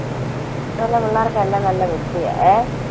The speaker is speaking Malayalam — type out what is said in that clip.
ഇപ്പൊ ഉള്ള പിള്ളേരൊക്കെ എല്ലാം നല്ല നിശ്ചയാ. ഏഹ്